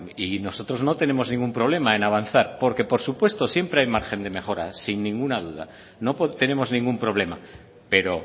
nosotros no tenemos ningún problema en avanzar porque por supuesto siempre hay margen de mejora sin ninguna duda no tenemos ningún problema pero